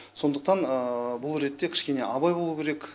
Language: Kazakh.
сондықтан бұл ретте кішкене абай болу керек